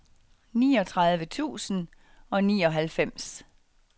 niogtredive tusind og nioghalvfems